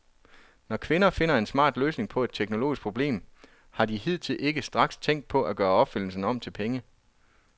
Når kvinder finder en smart løsning på et teknologisk problem, har de hidtil ikke straks tænkt på at gøre opfindelsen om til penge.